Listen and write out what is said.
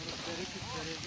Baba necə olacaq?